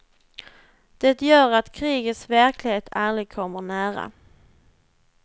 Det gör att krigets verklighet aldrig kommer nära.